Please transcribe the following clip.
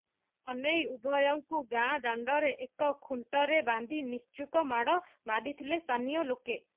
ଏନେଇ ଉଭୟଙ୍କୁ ଗାଁ ଦାଣ୍ଡରେ ଏକ ଖୁଣ୍ଟରେ ବାନ୍ଧି ନିସ୍ତୁକ ମାଡ ମାରିଥିଲେ ସ୍ଥାନୀୟ ଲୋକ